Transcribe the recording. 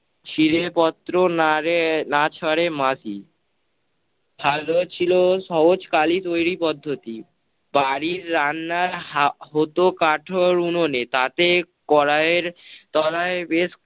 শিলে পত্র নারে না ছাড়ে মাটি। ফালো ছিল সহজ কালি তৈরী পদ্ধতি। বাড়ির রান্না হা~ হত কাঠর উনোনে, তাতে কড়াইয়ের, কড়াই বেশ